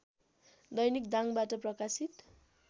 दैनिक दाङबाट प्रकाशित